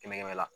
Kɛmɛ kɛmɛ la